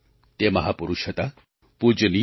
તે મહાપુરુષ હતા પૂજનીય ડૉ